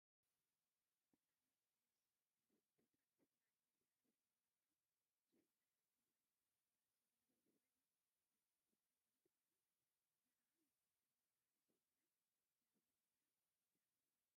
ብጣዕሚ ደስ ዝብል ቦታ እዩ ንዓይኒ ስሓብን መራክን እኮነ ሓምለዋይ ህንፃታት ዘለዎ ኮይኑ ደስ ትብል ህፃን ቆልዓ ኣላ ንዓዓ ናይ መጀመርታኣ ዝኮነ ናበይ እያ ከይዳ?